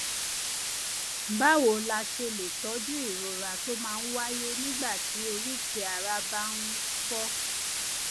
báwo la ṣe lè tọjú ìrora tó máa ń wáyé nígbà tí oríkèé ara bá um fọ